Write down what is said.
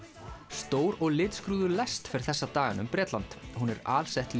stór og litskrúðug lest fer þessa dagana um Bretland hún er alsett